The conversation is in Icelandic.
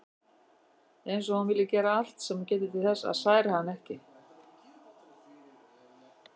Eins og hún vilji gera allt sem hún geti til þess að særa hann ekki.